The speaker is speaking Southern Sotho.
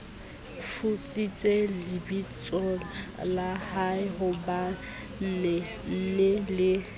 futsitse lebitsola haehobanee nee le